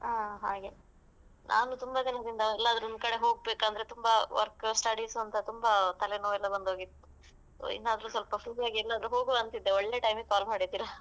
ಹ ಹಾಗೆ ನಾನು ತುಂಬಾ ದಿನದಿಂದ ಎಲ್ಲಾದ್ರೂ ಒಂದ್ ಕಡೆ ಹೋಗ್ಬೇಕಂದ್ರೆ ತುಂಬಾ work studies ಅಂತ ತುಂಬಾ ತಲೆನೋವ್ ಎಲ್ಲ ಬಂದ್ ಹೋಗಿತ್ತು so ಇನ್ನಾದ್ರೂ ಸ್ವಲ್ಪ free ಎಲ್ಲಿಗಾದ್ರೂ ಹೋಗ್ವ ಅಂತಿದ್ದೆ ಒಳ್ಳೆ time ಗೆ call ಮಾಡಿದ್ದೀರಾ .